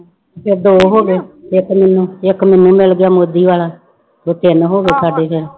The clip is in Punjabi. ਫਿਰ ਦੋ ਹੋ ਗਏ ਇੱਕ ਮੈਨੂੰ ਇੱਕ ਮੈਨੂੰ ਮਿਲ ਗਿਆ ਮੋਦੀ ਵਾਲਾ ਤੇ ਤਿੰਨ ਹੋ ਗਏ ਸਾਡੇ ਫਿਰ।